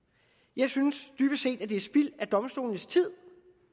jeg synes dybest set at det er spild af domstolenes tid